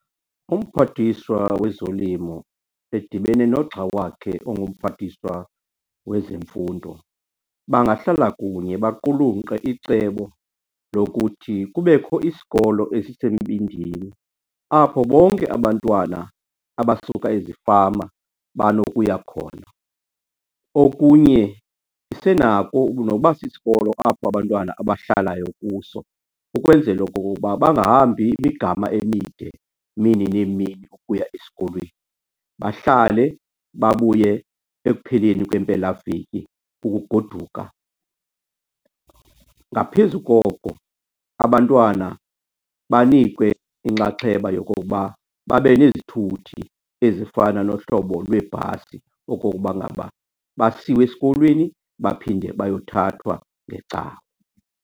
Umphathiswa wezolimo edibene nogxa wakhe ongumphathiswa wezemfundo, bangahlala kunye baqulunkqe icebo lokuthi kubekho isikolo esisembindini apho bonke abantwana abasuka ezifama banokuya khona. Okunye isenako nokuba sisikolo apho abantwana abahlalayo kuso ukwenzela okokoba bangahambi imigama emide, mini neemini ukuya esikolweni. Bahlale, babuye ekupheleni kwempelaveki ukugoduka. Ngaphezu koko abantwana banikwe inxaxheba yokokuba babe nezithuthi ezifana nohlobo lweebhasi okokuba ngaba basiwe esikolweni baphinde bayothathwa ngeCawa.